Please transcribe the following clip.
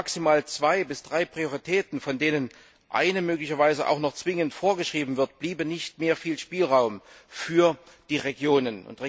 Bei maximal zwei bis drei Prioritäten, von denen eine möglicherweise auch noch zwingend vorgeschrieben wird, bliebe nicht mehr viel Spielraum für die Regionen.